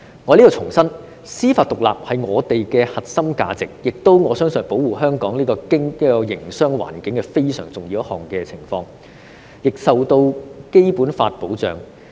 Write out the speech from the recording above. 我想在此重申，司法獨立是我們的核心價值，而且我相信，司法獨立也是保護香港營商環境一個相當重要的元素，亦受到《基本法》保障。